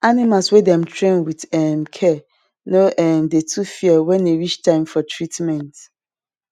animal wey dem train with um care no um dey too fear wen e reach time for treatment